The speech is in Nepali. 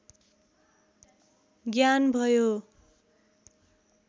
ज्ञान भयो